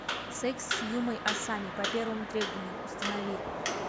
секс с юмой асами по первому требованию установи